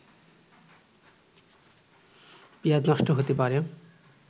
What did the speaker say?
পিঁয়াজ নষ্ট হতে পারে